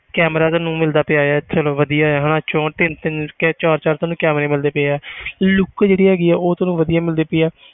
Camera ਤੈਨੂੰ ਮਿਲਦਾ ਪਿਆ ਹੈ ਚਲੋ ਵਧੀਆ ਹੈ ਹਨਾ ਚੋਂਹਠ ਤਿੰਨ ਤਿੰਨ ਚਾਰ ਚਾਰ ਤੈਨੂੰ camera ਮਿਲਦੇ ਪਏ ਆ look ਜਿਹੜੀ ਹੈਗੀ ਆ ਉਹ ਤੈਨੂੰ ਵਧੀਆ ਮਿਲਦੀ ਪਈ ਆ,